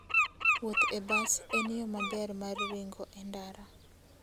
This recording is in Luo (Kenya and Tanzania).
Wuoth e bas en yo maber mar ringo e ndara.